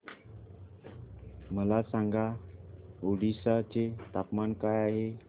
मला सांगा ओडिशा चे तापमान काय आहे